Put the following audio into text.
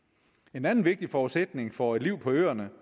en anden vigtig forudsætning for et liv på øerne